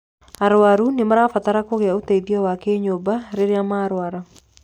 arwaru nĩmarabatara kũgĩa ũteithio wa kinyũmba rĩrĩa marwara